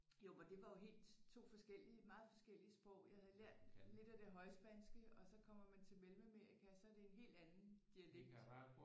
Jo og det var jo helt 2 forskellige meget forskellige sprog jeg havde lært lidt af det højspanske og så kommer man til Mellemamerika så er det en helt anden dialekt